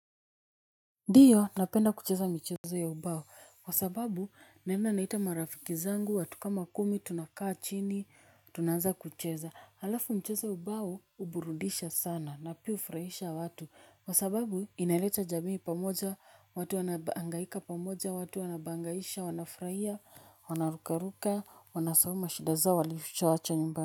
Ndiyo napenda kucheza michezo ya ubao kwa sababu naena naita marafiki zangu watu kama kumi tunakaa chini tunaanza kucheza alafu mchezo wa ubao uburudisha sana na pia ufurahisha watu. Kwa sababu inaleta jamii pamoja watu wanaangaika pamoja watu wanabangaisha wanafurahia wanarukaruka wanasahau mashida zao walifichawacha nyumbani.